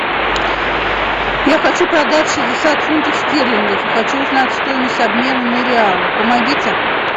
я хочу продать шестьдесят фунтов стерлингов и хочу узнать стоимость обмена на реалы помогите